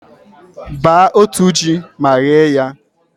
baa otu ji ma ghee ya.